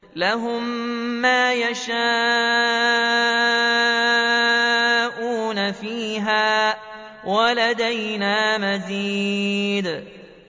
لَهُم مَّا يَشَاءُونَ فِيهَا وَلَدَيْنَا مَزِيدٌ